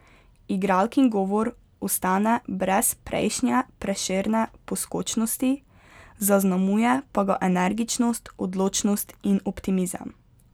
Igralkin govor ostane brez prejšnje prešerne poskočnosti, zaznamuje pa ga energičnost, odločnost in optimizem.